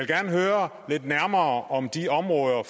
gerne høre lidt nærmere om de områder